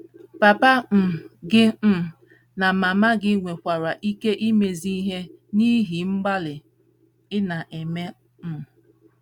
Papa um gị um na mama gị nwekwara ike imezi ihe n’ihi mgbalị ị na - eme um.